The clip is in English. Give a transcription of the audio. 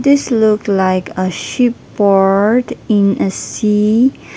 this look like a ship port in a sea.